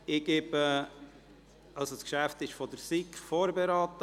Dieses Geschäft wurde von der SiK vorberaten.